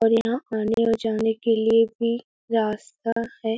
और यहाँ आने और जाने के लिए भी रास्ता है।